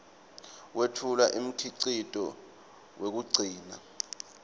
wetfula umkhicito wekugcina